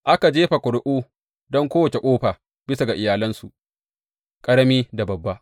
Aka jefa ƙuri’u don kowace ƙofa bisa ga iyalansu, ƙarami da babba.